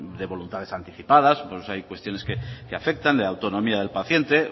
de voluntades anticipadas pues hay cuestiones que afectan de autonomía del paciente